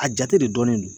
A jate de dɔnnen don